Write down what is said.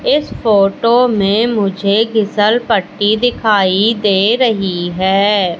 इस फोटो में मुझे फिशल पट्टी दिखाई दे रही है।